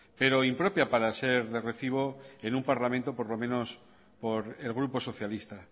pero impropia para ser de recibo en un parlamento por lo menos por el grupo socialista